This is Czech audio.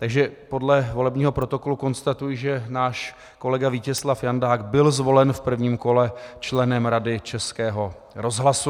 Takže podle volebního protokolu konstatuji, že náš kolega Vítězslav Jandák byl zvolen v prvním kole členem Rady Českého rozhlasu.